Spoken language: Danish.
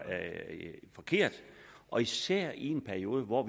forkert og især i en periode hvor